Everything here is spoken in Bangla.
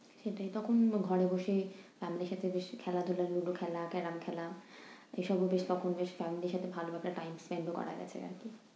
সেটাই, তখন ঘরে বসেই family র সাথেই বেশ খেলাধুলা লুডু খেলা, carrom খেলা এইসব মিলিয়ে তখন বেশ family র সাথে ভালো একটা time spend ও করা গেছে আরকি।